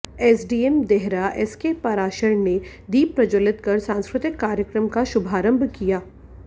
SDM Dehra SK Parashar ने दीप प्रज्वलित कर सांस्कृतिक कार्यक्रम का शुभारंभ किया